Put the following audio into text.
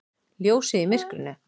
Ljósið í myrkrinu!